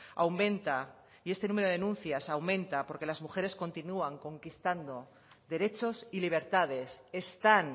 aumenta y este número denuncias aumenta porque las mujeres continúan conquistando derechos y libertades están